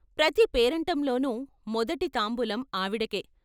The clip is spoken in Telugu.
ప్రతి పేరంటంలోనూ మొదటి తాంబూలం ఆవిడకే.